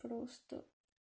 просто